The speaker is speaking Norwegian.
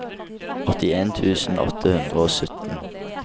åttien tusen åtte hundre og sytten